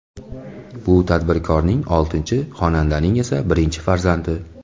Bu tadbirkorning oltinchi, xonandaning esa birinchi farzandi.